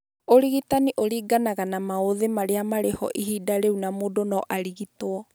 Ũrigitani ũringanaga na maũthĩ marĩa marĩ ho ihinda rĩu na mũndũ no arigitwo